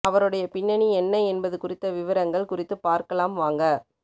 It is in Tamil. அவருடைய பின்னணி என்ன என்பது குறித்த விவரங்கள் குறித்து பார்க்கலாம் வாங்க